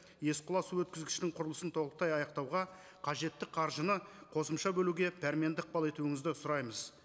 есқұла су өткізгішінің құрылысын толықтай аяқтауға қажетті қаржыны қосымша бөлуге дәрменді ықпал етуіңізді сұраймыз